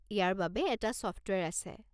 ইয়াৰ বাবে এটা ছফ্টৱেৰ আছে।